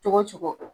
Cogo cogo